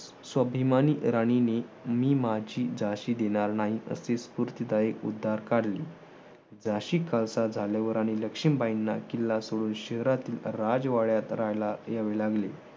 स्वाभिमानी राणीने मी माझी झाशी देणार नाही असे स्फूर्तिदायक उद्धार काढले. झाशी खालसा झाल्यावर आणि लक्ष्मीबाईंना किल्ला सोडून शहरातील राजवाड्यात राहायला यावे लागले.